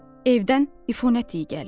Evdən ifunət iy gəlir.